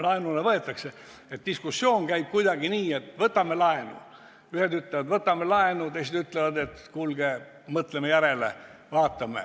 laenuna võetakse, et diskussioon käib kuidagi nii, et ühed ütlevad, et võtame laenu, teised ütlevad, et kuulge, mõtleme järele, vaatame.